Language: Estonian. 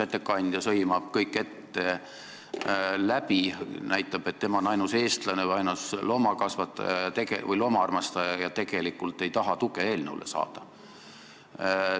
Ettekandja sõimab kõik ette läbi, näitab, et tema on ainus eestlane või ainus loomaarmastaja, ja tegelikult ei tahagi eelnõule tuge saada.